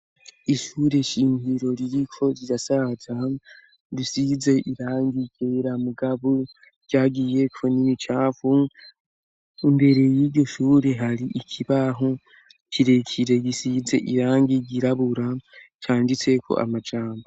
Ishure shinkiro ryiko rya saza risize irangi igera mugabu ryagiyeko n'imicavu imbere y'iroshure hari ikibaho kirekire gisize irangi igirabura canditseko amajambo.